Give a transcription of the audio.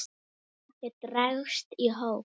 og dregst í hóp